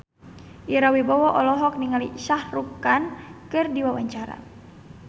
Ira Wibowo olohok ningali Shah Rukh Khan keur diwawancara